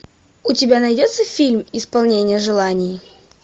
у тебя найдется фильм исполнение желаний